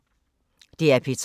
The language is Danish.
DR P3